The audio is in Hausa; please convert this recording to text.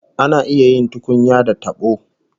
Ana iya yin tukunya da tabo